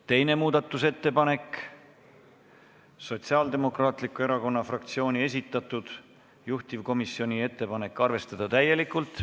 Teine muudatusettepanek, Sotsiaaldemokraatliku Erakonna fraktsiooni esitatud, juhtivkomisjoni ettepanek: arvestada täielikult.